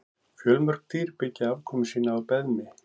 Fjölmörg dýr byggja afkomu sína á beðmi.